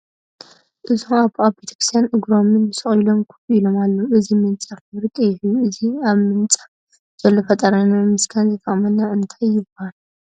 እዞም ኣቦ ኣብ ቤተ ክርስትያ እግሮም ሰቂሎም ከፍ ኢሎም አለው ።እዚ ምንፃፍ ሕብሪ ቀይሕ እዩ ። እዚ ኣብ ምንፃፍ ዘሎ ፈጣሪና ንምምስጋን ዝጠቅምና እንታይ ይባሃል ?